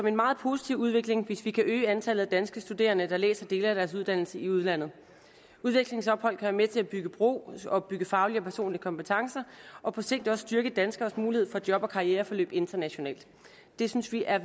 en meget positiv udvikling hvis vi kan øge antallet af danske studerende der læser dele af deres uddannelse i udlandet et udvekslingsophold kan være med til at bygge bro og opbygge faglige og personlige kompetencer og på sigt også styrke danskeres mulighed for job og karriereforløb internationalt det synes vi er